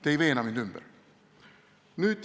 Te ei veena mind ümber.